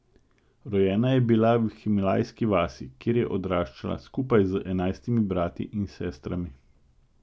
Rojena je bila v himalajski vasi, kjer je odraščala skupaj z enajstimi brati in sestrami.